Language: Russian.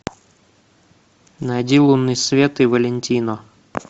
найди лунный свет и валентино